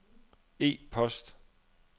e-post